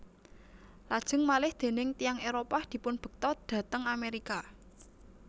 Lajeng malih déning tiyang Éropah dipunbekta dhateng Amerika